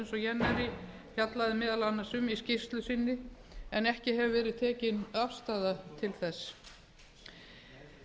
jännäri fjallaði meðal annars um í skýrslu sinni en ekki hefur verið tekin afstaða til þess